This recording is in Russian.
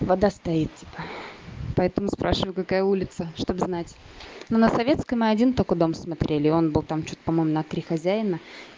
вода стоит типо поэтому спрашиваю какая улица чтобы знать но на советской мы один только дом смотрели и он был там что-то по-моему на три хозяина